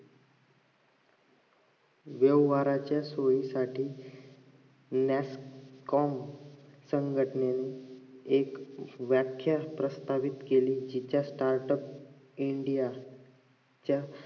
जीवनभराच्या सोयीसाठी nascom संघटनेने व्याख्यान प्रस्थान केली त्याच startupindia च्या